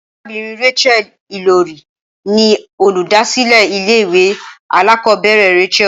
Arabìnrin Rachael Ìlòrí ni olùdásílé ilé ìwé alákòóbèrè Rachael